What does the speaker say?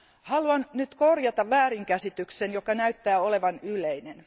Haluan nyt korjata väärinkäsityksen, joka näyttää olevan yleinen.